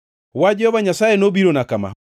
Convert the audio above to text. Wach Jehova Nyasaye nobirona kama: